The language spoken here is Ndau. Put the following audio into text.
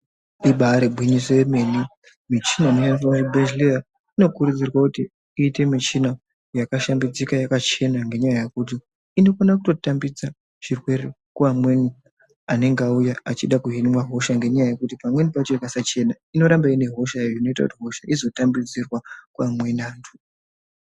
Ibari gwinyiso remene michina inodiwa kuzvibhedhlera inokurudzurwa kuti iite michina yakashambidzika yakachena zvirwere kuva mweni anenge auya vachida kuhinwa hosha ngenda yekuti pamweni pacho ikasachena inoramba une hosha iyoyo inoita kuti vamweni vazodetserwa.